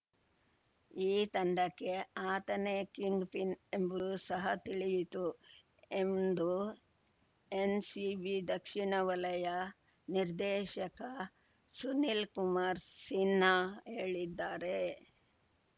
ಈ ತಂಡಕ್ಕೆ ಆತನೇ ಕಿಂಗ್‌ಪಿನ್‌ ಎಂಬುದು ಸಹ ತಿಳಿಯಿತು ಎಂದು ಎನ್‌ಸಿಬಿ ದಕ್ಷಿಣ ವಲಯ ನಿರ್ದೇಶಕ ಸುನೀಲ್‌ ಕುಮಾರ್‌ ಸಿನ್ಹಾ ಹೇಳಿದ್ದಾರೆ